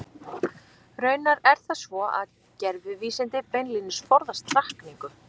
Raunar er það svo að gervivísindi beinlínis forðast hrakningu.